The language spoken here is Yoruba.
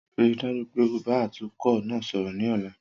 Rii daju pe o ba atukọ naa sọrọ ni ọla!